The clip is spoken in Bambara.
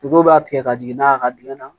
b'a tigɛ ka jigin n'a ye a ka dingɛ na